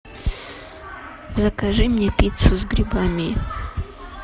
закажи мне пиццу с грибами